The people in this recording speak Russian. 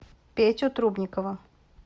петю трубникова